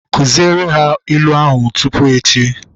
Kụziere ha ilu ahu tupu echi!